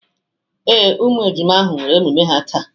Ee, ụmụ ejima ahụ nwere emume ha taa.